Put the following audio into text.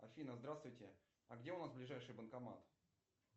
афина здравствуйте а где у нас ближайший банкомат